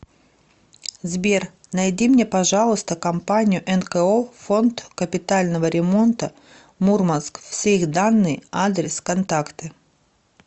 сбер найди мне пожалуйста компанию нко фонд капитального ремонта мурманск все их данные адрес контакты